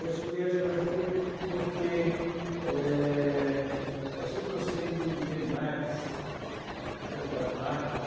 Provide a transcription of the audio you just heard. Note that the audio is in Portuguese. Eu escolhi a geografia porque é, eu sempre gostei de de animais, da das matas.